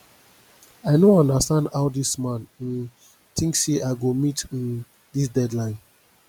i no understand how dis man um think say i go meet um dis deadline